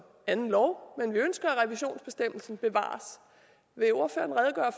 anden lov men vi ønsker at revisionsbestemmelsen bevares vil ordføreren